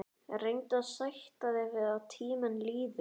Reyndu að sætta þig við að tíminn líður.